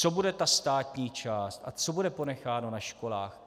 Co bude ta státní část a co bude ponecháno na školách?